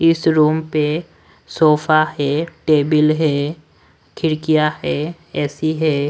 इस रूम पे सोफा है टेबिल है खिड़कियां है ए_सी है।